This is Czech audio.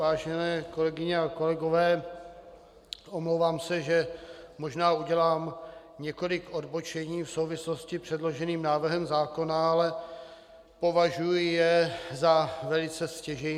Vážené kolegyně a kolegové, omlouvám se, že možná udělám několik odbočení v souvislosti s předloženým návrhem zákona, ale považuji je za velice stěžejní.